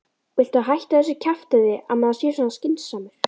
VILTU HÆTTA ÞESSU KJAFTÆÐI AÐ MAÐUR SÉ SVO SKYNSAMUR